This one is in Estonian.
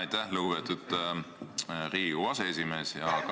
Aitäh, lugupeetud Riigikogu aseesimees!